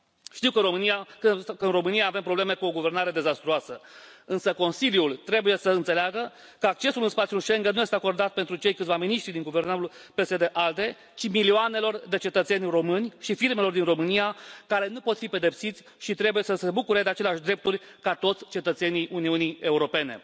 Știu că, în România, avem probleme cu o guvernare dezastruoasă, însă Consiliul trebuie să înțeleagă că accesul în spațiul Schengen nu este acordat pentru cei câțiva miniștri din guvernul PSD ALDE, ci milioanelor de cetățeni romani și firmelor din Romania, care nu pot fi pedepsiți și trebuie să se bucure de aceleași drepturi ca toți cetățenii Uniunii Europene.